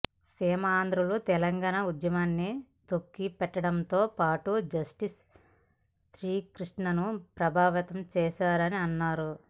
సీమాంధ్రులు తెలంగాణ ఉద్యమాన్ని తొక్కి పెట్టడంతో పాటు జస్టిస్ శ్రీకృష్ణను ప్రభావితం చేశారని అన్నారు